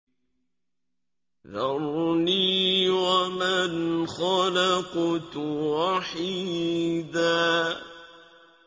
ذَرْنِي وَمَنْ خَلَقْتُ وَحِيدًا